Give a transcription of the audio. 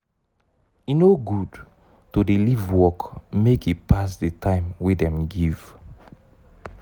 e no good to dey leave work make e pass di time wey dem give.